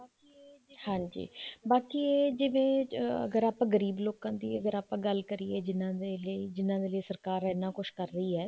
ਹਾਂਜੀ ਬਾਕੀ ਇਹ ਜਵੇਂ ਅਗਰ ਆਪਾਂ ਗਰੀਬ ਲੋਕਾਂ ਦੀ ਅਗਰ ਆਪਾਂ ਗੱਲ ਕਰੀਏ ਜਿਹਨਾ ਵੇਲੇ ਜਿਹਨਾ ਵੇਲੇ ਸਰਕਾਰ ਇੰਨਾ ਕੁੱਛ ਕਰ ਰਹੀ ਹੈ